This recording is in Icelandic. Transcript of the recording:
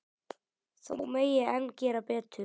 Þó megi enn gera betur.